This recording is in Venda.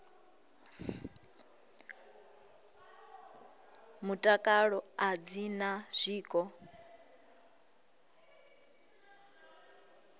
mutakalo a dzi na zwiko